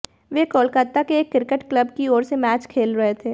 वे कोलकाता के एक cricket club की ओर से मैच खेल रहे थे